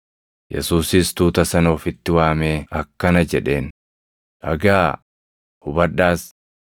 Yesuusis tuuta sana ofitti waamee akkana jedheen; “Dhagaʼaa; hubadhaas.